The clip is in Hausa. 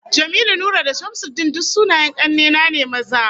Jamilu, Nura da Shamsuddin duk sunayen kanne na ne maza